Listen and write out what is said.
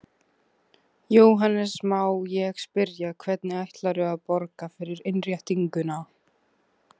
Jóhannes: Má ég spyrja, hvernig ætlarðu að borga fyrir innréttinguna?